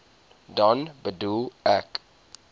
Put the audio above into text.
dan bedoel ek